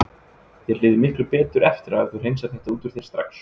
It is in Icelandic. Þér líður miklu betur eftir á ef þú hreinsar þetta út úr þér strax.